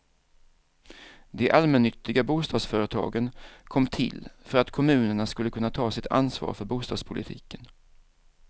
De allmännyttiga bostadsföretagen kom till för att kommunerna skulle kunna ta sitt ansvar för bostadspolitiken.